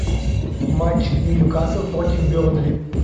матч ньюкасл против бернли